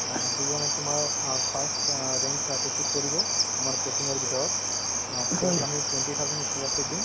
ing অ, যিজনে তোমাৰ অ first অ rank অ achieve কৰিব আমাৰ coaching ৰ ভিতৰত অ তেওঁক আমি twenty thousand ই scholarship দিম